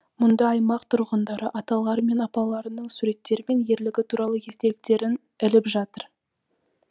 мұнда аймақ тұрғындары аталары мен апаларының суреттері мен ерлігі туралы естеліктерін іліп жатыр